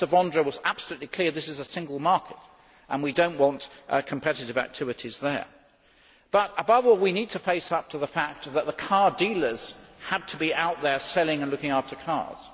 Mr Vondra was absolutely clear that this is a single market, and we do not want competitive activities there. But, above all, we need to face up to the fact that the car dealers have to be out there selling and looking after cars.